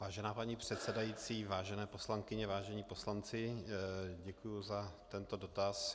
Vážená paní předsedající, vážené poslankyně, vážení poslanci, děkuji za tento dotaz.